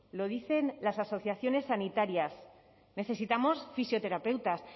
lo dicen las asociaciones sanitarias necesitamos fisioterapeutas